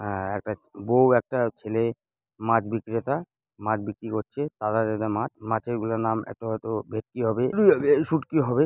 আঃ একটা বউ একটা ছেলে মাছ বিক্রেতা। মাছ বিক্রি করছে। মাছ। মাছ গুলোর নাম একটি হয়তো ভেটকি হবে।